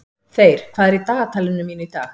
Þeyr, hvað er í dagatalinu mínu í dag?